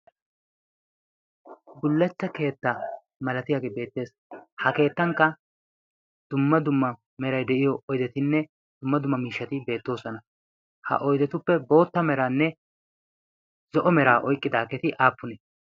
bullachcha keetta malatiyaage beettees ha keettankka dumma dumma merai de'iyo oidetinne dumma dumma miishshati beettoosona ha oidetuppe bootta meraanne zo'o meraa oiqqidaageti aappuni